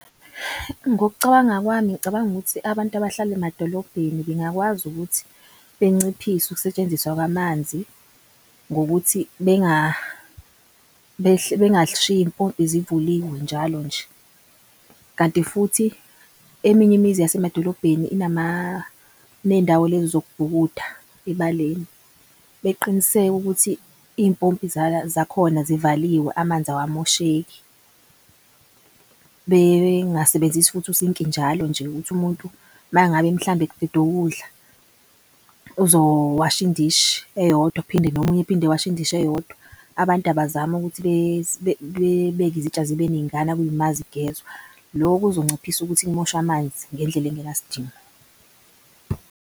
Ngokucabanga kwami ngicabanga ukuthi abantu abahlala emadolobheni bengakwazi ukuthi benciphise ukusetshenziswa kwamanzi. Ngokuthi bengashiyi iy'mpompi zivuliwe njalo nje kanti futhi eminye imizi yasemadolobheni iney'ndawo lezi zokubhukuda ebaleni beqiniseke ukuthi iy'mpompi zakhona zivaliwe amanzi awamosheki. Bengasebenzisi futhi usinki njalo nje ukuthi umuntu mangabe mhlambe eqedukudla uzowasha indishi eyodwa ephinde nomunye ephinde ewashe indishi eyodwa. Abantu abazame ukuthi bebeke izitsha zibe ningana kuyima zigezwa. Loko kuzonciphisa ukuthi kumoshwe amanzi ngendlela engenasidingo.